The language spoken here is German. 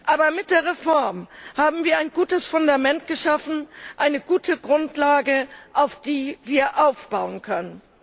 Aber mit der Reform haben wir ein gutes Fundament geschaffen, eine gute Grundlage, auf der wir aufbauen können.